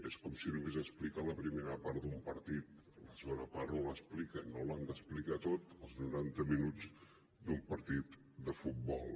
és com si només expliquen la primera part d’un partit i la segona part no l’expliquen no l’han d’explicar tot els noranta minuts d’un partit de futbol